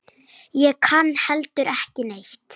Ég kann heldur ekki neitt.